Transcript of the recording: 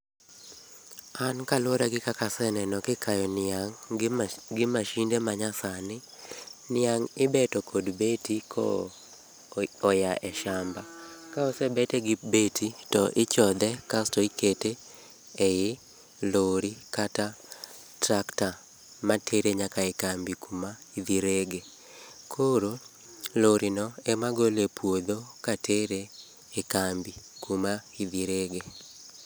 An kaluore gi kaka aseneno kikayo niang' gi mashinde manyasani , niang ibeto kod beti ka oya e shamba, kosebete gi beti to ichodhe asto ikete e lori kata tractor matere nyaka e kambi kama idhi rege, koro lorino ema gole e puodho katere e kambi kama idhi rege